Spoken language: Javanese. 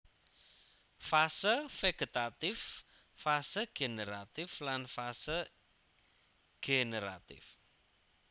Fase vegetatif fase generatif lan fase generatif